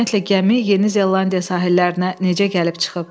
Ümumiyyətcə gəmi Yeni Zelandiya sahillərinə necə gəlib çıxıb?